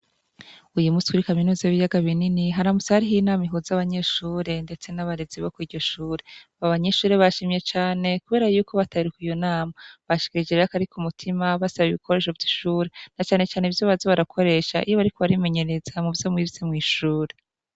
Uyu muswiri kaminuza w'iyaga binini haramus ari hoiyoinama ihuza abanyeshure, ndetse n'abarezi bo kw'iryoshure aba abanyishure bashimye cane, kubera yuko bataruka iyo nama bashikara ije rak arika umutima basaba ibikoresho vy'ishure na canecane ivyo bazo barakoresha iyo bari ko barimenyereza mu vyo mwijze mw'ishure.